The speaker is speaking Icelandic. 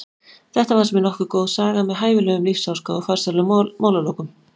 Þetta fannst mér nokkuð góð saga með hæfilegum lífsháska og farsælum málalokum.